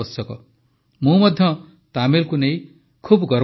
ମୁଁ ମଧ୍ୟ ତାମିଲକୁ ନେଇ ବହୁତ ଗର୍ବ ଅନୁଭବ କରେ